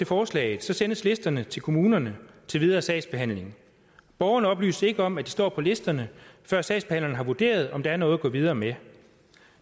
forslaget sendes listerne til kommunerne til videre sagsbehandling borgerne oplyses ikke om at de står på listerne før sagsbehandleren har vurderet om der er noget at gå videre med